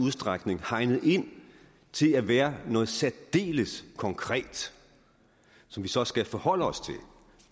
udstrækning hegnet ind til at være noget særdeles konkret som vi så skal forholde os til